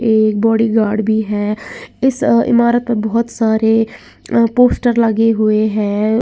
एक बॉडीगार्ड भी है इस इमारत में बहुत सारे पोस्टर लगे हुए हैं।